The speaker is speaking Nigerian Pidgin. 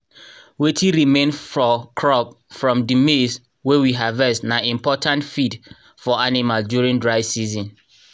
wetin remain for crop from rhe maize wey we harvest na important feed for animal during dry season.